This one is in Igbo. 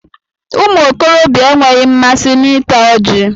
Ụmụ okorobịa enweghị mmasị na ịta ọji